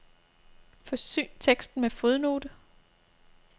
Forsyn teksten med fodnote.